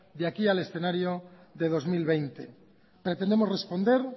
de aquí al escenario de dos mil veinte pretendemos responder